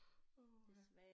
Åh ha